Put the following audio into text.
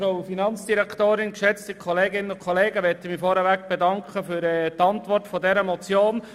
Ich bedanke mich für die Beantwortung dieser Motion.